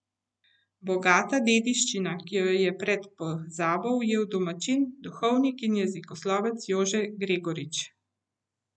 Bogata dediščina, ki jo je pred pozabo ujel domačin, duhovnik in jezikoslovec Jože Gregorič.